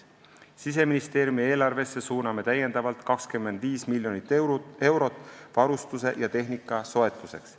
Siseministeeriumi eelarvesse suuname lisaks 25 miljonit eurot varustuse ja tehnika soetuseks.